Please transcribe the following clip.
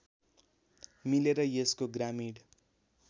मिलेर यसले ग्रामीण